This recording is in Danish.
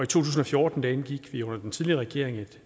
tusind og fjorten indgik vi under den tidligere regering